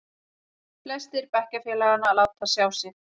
Flestir bekkjarfélaganna láta sjá sig.